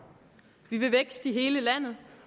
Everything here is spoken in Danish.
vi vil vækst i hele landet